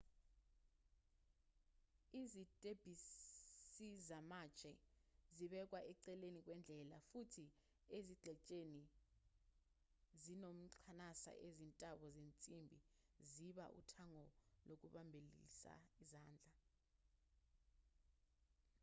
izitebhisizamatshe zibekwa eceleni kwendlela futhi ezingxenyeni ezinomqansa izintambo zensimbi ziba uthango lokubambelelisa izandla